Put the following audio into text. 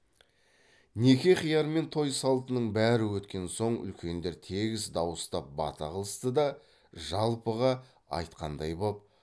неке қияр мен той салтының бәрі өткен соң үлкендер тегіс дауыстап бата қылысты да жалпыға айтқандай боп